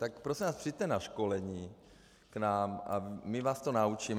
Tak prosím vás, přijďte na školení k nám a my vás to naučíme.